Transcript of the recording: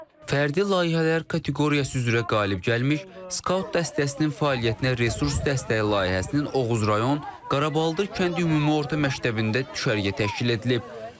Fərdi layihələr kateqoriyası üzrə qalib gəlmək, skaut dəstəsinin fəaliyyətinə resurs dəstəyi layihəsinin Oğuz rayon Qaraballdır kənd ümumi orta məktəbində düşərgə təşkil edilib.